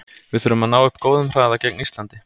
Við þurfum að ná upp góðum hraða gegn Íslandi.